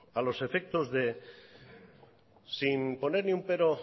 a los efectos de sin poner ni un pero